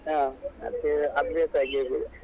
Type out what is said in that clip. ಹ ಅದು ಅಭ್ಯಾಸ ಆಗಿ ಹೋಗಿದೆ.